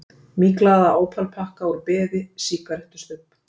Myglaðan ópalpakka úr beði, sígarettustubb.